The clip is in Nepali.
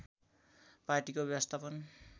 पार्टीको व्यवस्थापन